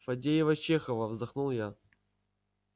фадеева-чехова вздохнул я